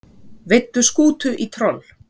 Veiddu skútu í troll